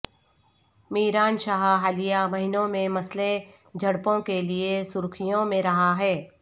میران شاہ حالیہ مہینوں میں مسلح جھڑپوں کے لیے سرخیوں میں رہا ہے